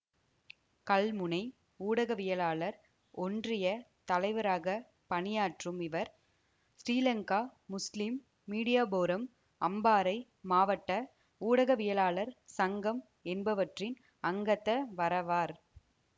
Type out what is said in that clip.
கல்முனை ஊடகவியலாளர் ஒன்றியத் தலைவராக பணியாற்றும் இவர் ஸ்ரீலங்கா முஸ்லிம் மீடியாபோரம் அம்பாறை மாவட்ட ஊடகவியலாளர் சங்கம் என்பவற்றின் அங்கத்தவராவார்